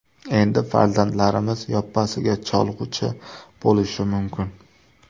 Endi farzandlarimiz yoppasiga cholg‘uchi bo‘lishi mumkin.